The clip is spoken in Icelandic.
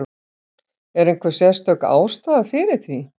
Er einhver sérstök ástæða fyrir því?